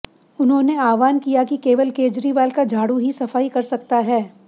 उन्होंने आह्वान किया कि केवल केजरीवाल का झाड़ू ही सफाई कर सकता है